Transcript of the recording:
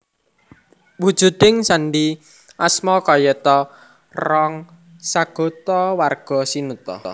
Wujuding sandi asma kayata Rong sagota warga sinuta